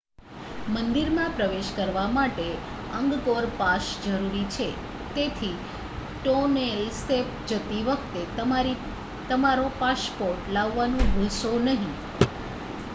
મંદિરમાં પ્રવેશ કરવા માટે અંગકોર પાસ જરૂરી છે તેથી ટોનેલ સેપ જતી વખતે તમારો પાસપોર્ટ લાવવાનું ભૂલશો નહીં